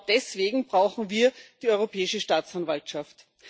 Genau deswegen brauchen wir die Europäische Staatsanwaltschaft.